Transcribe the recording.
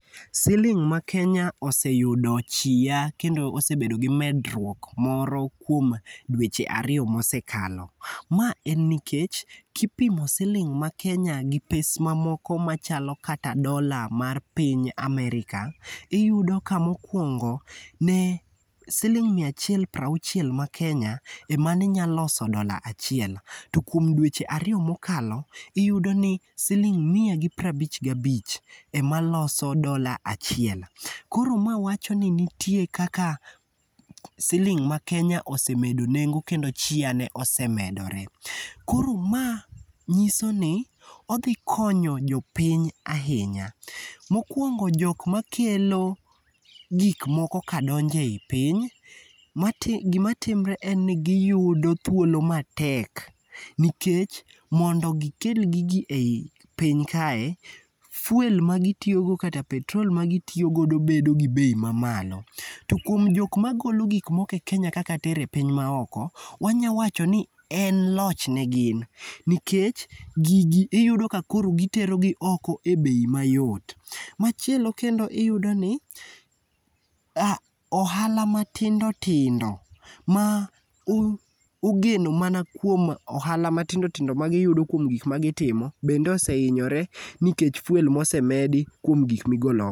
Siling' ma Kenya oseyudo chia kendo osebedo gi medruok moro kuom dweche ariyo mosekalo. Ma en nikech kipimo siling' ma Kenya gi pes mamoko machalo kata dola mar piny America, iyudo ka mokuongo ne siling' miya achiel piero auchiel ma Kenya ema ne nyalo loso dola achiel to kuom dweche ariyo mokalo iyudo ni siling' miya gi piero abich gabich ema loso dola achiel. Koro ma wacho ni nitie kaka siling' ma Kenya osemedo nengo nengo kendo chiane osemedore. Koro mae nyiso ni odhi konyo jopiny ahinya. Mokuongo jok makelo gik moko kadonjo ei piny. Gima timore en ni giyudo thuolo matek nikech mondo gikel gi ji ei piny kae, fuel ma gitiyogo kata petrol ma gitiyo godo bedo gi bei mamalo. To kuom jok magolo gik moko e Kenya katero e piny maoko, wanyalo wacho ni en loch negin nikech gigi iyudo ka koro giterogi oko e bei mayot. Machielo kendo iyudo ni ohala matindo tindo ma ogeno mana kuom ohala ma tindo tindo magiyudo kuom gik magitimo bende ohinyore kuom fuel mosemedi kuom gik ma igolo oko.